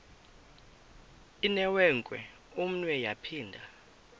inewenkwe umnwe yaphinda